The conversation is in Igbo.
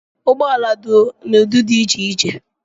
Ụgbọala dị n'udị dị iche iche